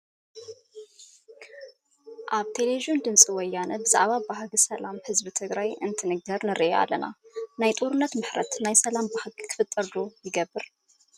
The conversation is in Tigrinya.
ኣብ ቴለብዥን ድምፂ ወያነ ብዛዕባ ባህጊ ሰላም ህዝቢ ትግራይ እንትንገር ንርኢ ኣለና፡፡ ናይ ጦርነት ምረት ናይ ሰላም ባህጊ ክፍጠር ይገብር ዶ?